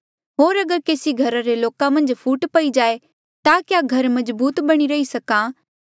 होर अगर केसी घरा रे लोका मन्झ फूट पई जाए ता क्या घर मजबूत बणी रही सक्हा